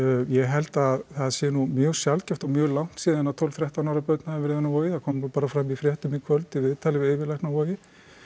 ég held að það sé nú mjög sjaldgæft og mjög langt síðan að tólf til þrettán ára börn hafa verið inni á Vogi það kom nú bara fram í fréttum í kvöld í viðtali við yfirlækni á Vogi